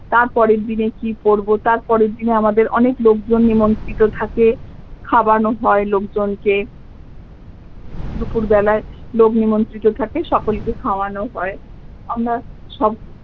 তারপরের দিনে কি পড়বো তারপরের পরের দিনে আমাদের অনেক লোকজন নিমন্ত্রিত থাকে খাওয়ানো হয়ে লোকজনকে দুপুর বেলায় লোক নিমন্ত্রিত থাকে সকলকে খাওয়ানো হয় আমরা সব